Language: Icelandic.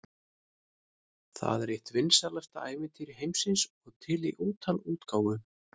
Það er eitt vinsælasta ævintýri heimsins og til í ótal útgáfum.